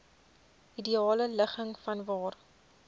ideale ligging vanwaar